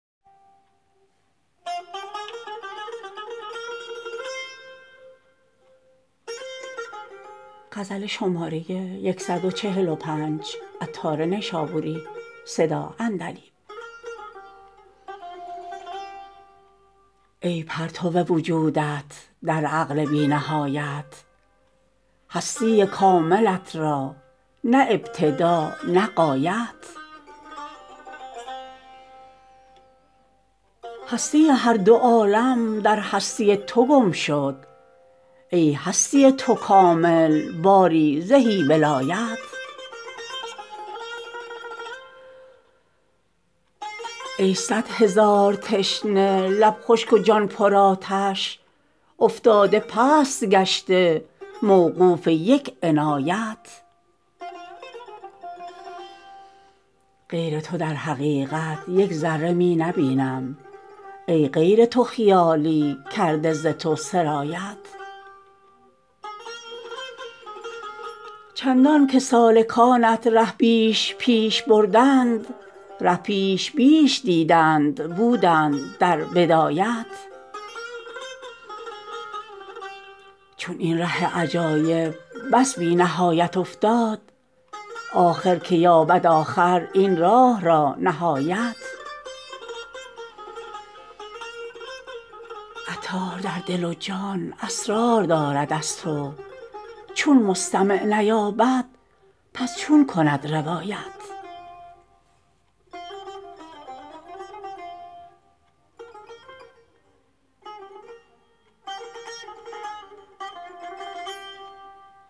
ای پرتو وجودت در عقل بی نهایت هستی کاملت را نه ابتدا نه غایت هستی هر دو عالم در هستی تو گمشد ای هستی تو کامل باری زهی ولایت ای صد هزار تشنه لب خشک و جان پرآتش افتاده پست گشته موقوف یک عنایت غیر تو در حقیقت یک ذره می نبینم ای غیر تو خیالی کرده ز تو سرایت چندان که سالکانت ره بیش پیش بردند ره پیش بیش دیدند بودند در بدایت چون این ره عجایب بس بی نهایت افتاد آخر که یابد آخر این راه را نهایت عطار در دل و جان اسرار دارد از تو چون مستمع نیابد پس چون کند روایت